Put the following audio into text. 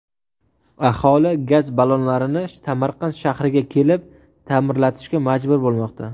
Aholi gaz ballonlarini Samarqand shahriga kelib, ta’mirlatishga majbur bo‘lmoqda.